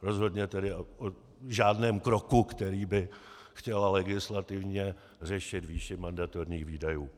Rozhodně tedy v žádném kroku, kterým by chtěla legislativně řešit výši mandatorních výdajů.